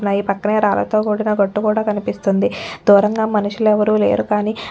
రాయి పక్కనే రాళ్ళతో కూడిన గట్టుకూడా కనిపిస్తుంది దూరంగా మనుషులు ఎవ్వరూలేరు కానీ --